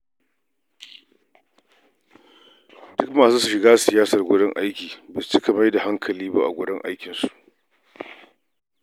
Duk masu shiga siyasar wurin aiki, ba su fiye mai da hankali ba a aikinsu.